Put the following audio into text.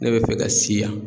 Ne bɛ fɛ ka si yan.